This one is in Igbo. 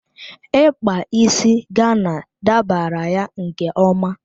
Ikpa isi Gana dabara ya nke ọma.